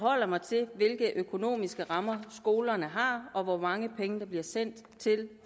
forholder mig til hvilke økonomiske rammer skolerne har og hvor mange penge der bliver sendt til